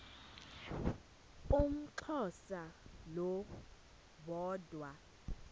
umxhosa lo woda